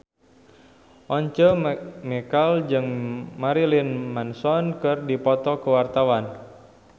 Once Mekel jeung Marilyn Manson keur dipoto ku wartawan